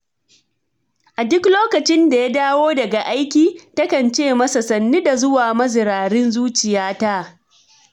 A duk lokacin da ya dawo daga aiki, takan ce masa, 'sannu da zuwa mazirarin zuciyata'.